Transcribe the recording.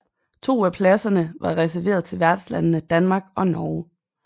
To af pladserne var reserveret til værtslandene Danmark og Norge